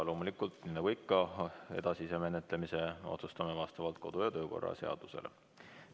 Loomulikult, nii nagu ikka, edasise menetlemise otsustame vastavalt kodu- ja töökorra seadusele.